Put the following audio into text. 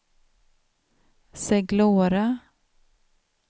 Seglora